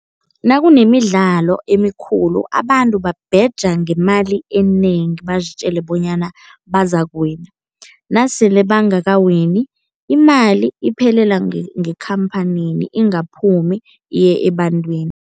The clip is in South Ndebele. Nakunemidlalo emikhulu abantu babheja ngemali enengi, bazitjele bonyana bazakuwina. Nasele bangakawinI, imali iphelela ngekhamphanini ingaphumi iye ebantwini.